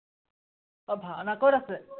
আহ ভাওনা কত আছে?